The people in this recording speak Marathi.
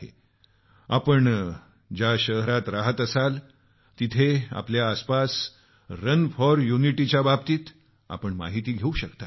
यासाठी आपण ज्या शहरात राहत असाल तिथं आपल्या आसपास रन फॉर युनिटीच्या बाबतीत माहिती घेऊ शकता